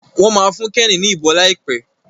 Wón má fún Kenny ní ìbọn laipe.